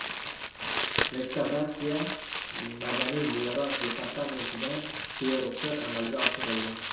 Restavratsiya Madaniy meros departamentidan beruxsat amalga oshirildi.